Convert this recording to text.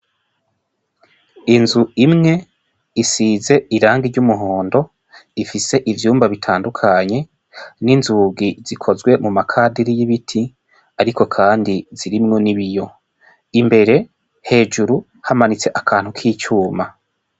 Inzu imwe isize irangi ry 'umuhondo ,ifise ivyumba bitandukanye, n'inzugi zikozwe muma kadiri y'ibiti ariko kandi zirimwo n'ibiyo, imbere hejuru hamanitse akantu kicuma.